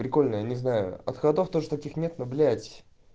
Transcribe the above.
прикольно я не знаю отходов тоже таких нет но блять